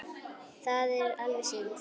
Það er alveg synd